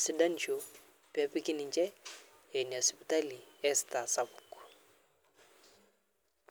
sidanisho pepiki ninche enia sipitali estar sapuk.